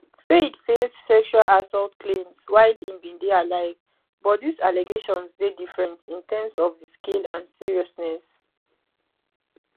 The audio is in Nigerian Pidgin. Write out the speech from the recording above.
fayed face sexual assault claims while im bin dey alive but dis allegations dey different in terms of di scale and seriousness